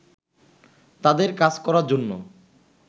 তাদের কাজ করার জন্য